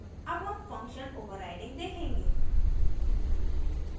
अब हम function overriding देखेंगे